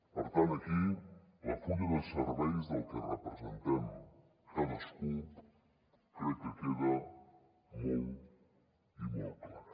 per tant aquí el full de serveis del que representem cadascú crec que queda molt i molt clar